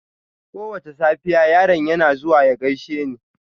Kowace safiya, yaron yana zuwa ya gaishe ni.